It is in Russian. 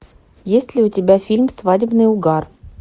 есть ли у тебя фильм свадебный угар